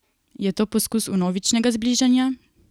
Je to poskus vnovičnega zbližanja?